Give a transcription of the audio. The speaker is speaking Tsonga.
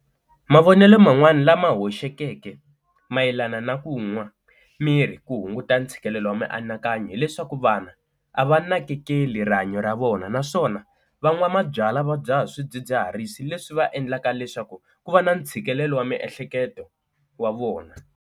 Mavonelo man'wani lama hoxekeke mayelana na ku nwa mirhi ku hunguta ntshikelelo wa mianakanyo, hileswaku vanhu a va nakekeli rihanyo ra vona naswona van'wa mabyalwa va dzaha swidzidziharisi leswi va endlaka leswaku ku va na ntshikelelo wa miehleketo wa vona.